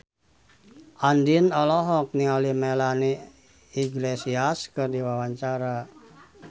Andien olohok ningali Melanie Iglesias keur diwawancara